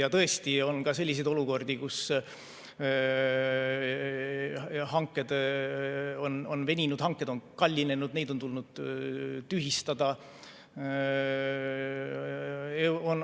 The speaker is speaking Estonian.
Ja tõesti on ka selliseid olukordi, kus hanked on veninud, hanked on kallinenud, neid on tulnud tühistada.